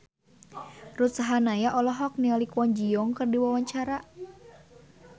Ruth Sahanaya olohok ningali Kwon Ji Yong keur diwawancara